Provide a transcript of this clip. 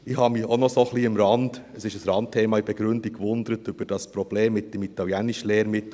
Ich habe mich am Rande – es ist ein Randthema in der Begründung – ein bisschen gewundert über das Problem mit dem Italienischlehrmittel: